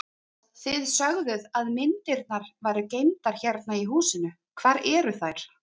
Þið sögðuð að myndirnar væru geymdar hérna í húsinu, hvar eru þær?